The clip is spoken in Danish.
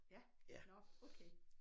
Ja nårh okay